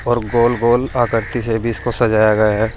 और गोल-गोल आकृति से भी इसको सजाया गया है।